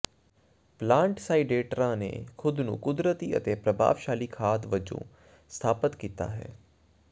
plant ਸਾਈਡਰੇਟਾਂ ਨੇ ਖੁਦ ਨੂੰ ਕੁਦਰਤੀ ਅਤੇ ਪ੍ਰਭਾਵਸ਼ਾਲੀ ਖਾਦ ਵਜੋਂ ਸਥਾਪਤ ਕੀਤਾ ਹੈ